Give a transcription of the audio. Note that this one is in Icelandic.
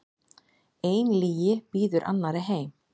Ein lygi býður annarri heim.